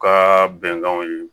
U ka bɛnkanw ye